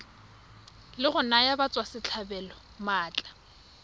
la go naya batswasetlhabelo maatla